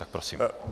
Tak prosím.